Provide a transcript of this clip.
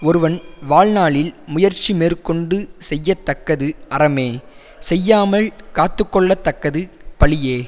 ஒருவன் வாழ்நாளில் முயற்சி மேற்கொண்டு செய்யத்தக்கது அறமே செய்யாமல் காத்து கொள்ளத்தக்கது பழியே